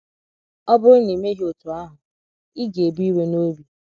“ Ọ bụrụ na i meghị otú ahụ, ị ga - ebu iwe n’obi. ”